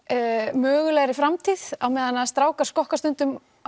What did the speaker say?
mögulegri framtíð á meðan strákar skokka stundum á